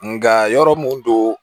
Nga yɔrɔ mun don